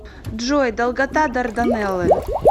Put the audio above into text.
джой долгота дарданеллы